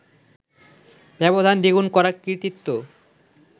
ব্যবধান দ্বিগুণ করার কৃতিত্ব